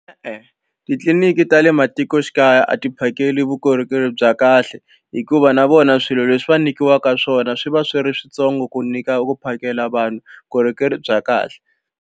E-e titliliniki ta le matikoxikaya a ti phakeli vukorhokeri bya kahle hikuva na vona swilo leswi va nyikiwaka swona swi va swi ri switsongo ku nyika ku phakela vanhu vukorhokeri bya kahle.